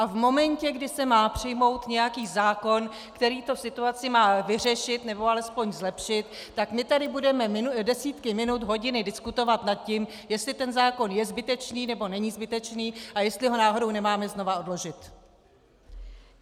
A v momentě, kdy se má přijmout nějaký zákon, který tu situaci má vyřešit, nebo alespoň zlepšit, tak my tady budeme desítky minut, hodiny diskutovat nad tím, jestli ten zákon je zbytečný, nebo není zbytečný a jestli ho náhodou nemáme znova odložit!